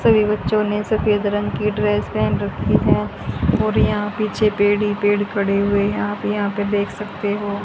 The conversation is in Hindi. सभी बच्चों ने सफेद रंग की ड्रेस पहन रखी है और यहां पीछे पेड़ ही पेड़ खड़े हुए हैं आप यहां पे देख सकते हो।